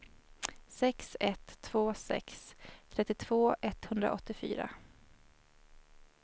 sex ett två sex trettiotvå etthundraåttiofyra